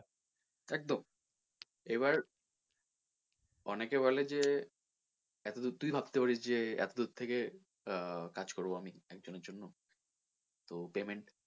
একদম এবার অনেকে বলে যে এতদূর তুই ভাবতে পারিস যে এতদূর থেকে কাজ করবো আমি তো payment